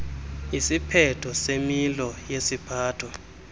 isiphetho semilo yesiphatho